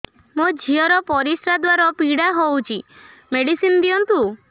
ମୋ ଝିଅ ର ପରିସ୍ରା ଦ୍ଵାର ପୀଡା ହଉଚି ମେଡିସିନ ଦିଅନ୍ତୁ